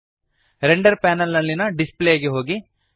render panel ನಲ್ಲಿಯ display ಗೆ ಹೋಗಿರಿ